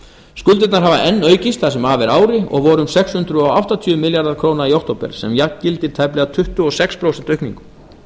skuldirnar hafa enn aukist það sem af er ári og voru um sex hundruð áttatíu milljarðar króna í október sem jafngildir tæplega tuttugu og sex prósent aukningu